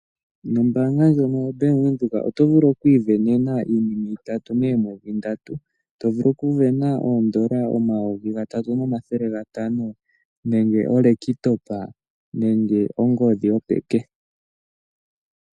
Nombaanga ndjono yoBank Windhoek oto vulu oku isindanena iinima itatu moomwedhi ndatu, to vulu oku sindana oondola omayovi gatatu nomathele gatano nenge oolekitopa nenge ongodhi yopeke.